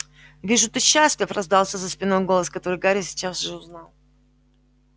вижу ты счастлив раздался за спиной голос который гарри сейчас же узнал